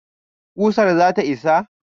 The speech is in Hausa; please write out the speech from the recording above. ƙusar zata isa?